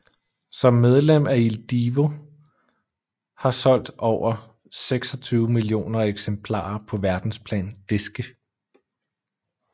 Som medlem af Il Divo har solgt over 26 millioner eksemplarer på verdensplan diske